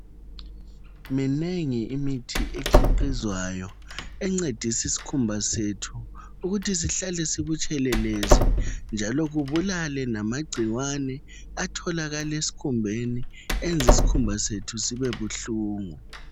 Minengi imithi ekhiqizwayo encedisa iskhumba sethu ukuthi sihlale sibutshelelezi njalo kubulale lamagcikwane atholakala esikhumbeni enza isikhumba sethu sibe buhlungu.